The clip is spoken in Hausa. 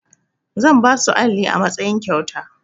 Zan ba su alli a matsayin kyauta.